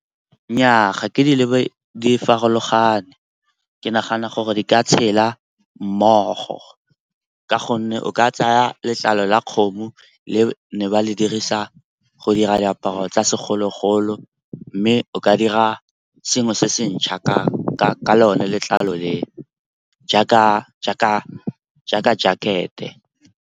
Nnyaa, ga ke di lebe di farologane, ke nagana gore di ka tshela mmogo ka gonne o ka tsaya letlalo la kgomo le ne ba le dirisa go dira diaparo tsa segologolo mme o ka dira sengwe se se ntšha ka lone letlalo le jaaka jacket-e.